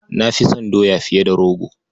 Na fi son doya fiye da rogo.